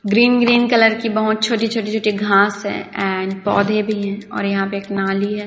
Green green colour की बहोत छोटी छोटी छोटी घास है एंड पौधे भी है और यहां पे एक नाली भी है।